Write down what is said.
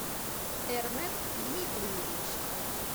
эрмек дмитриевич